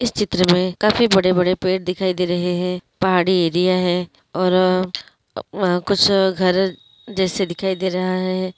इस चित्र मे काफी बड़े बड़े पेड़ दिखाई दे रहे हैं पहाड़ी एरिया है और व-कुछ घर जैसे दिखाई दे रहा है।